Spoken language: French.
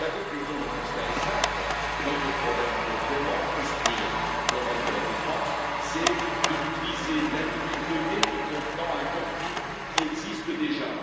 La conclusion de tout cela est simple notre problème pour vraiment construire l'Europe de la défense, c'est de l'utiliser, de l'animer, de donner du contenant à un contenu qui existe déjà.